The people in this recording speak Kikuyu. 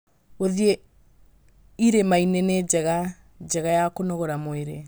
Gũthiĩ irĩma-inĩ nĩ njĩra njega ya kũnogora mwĩrĩ.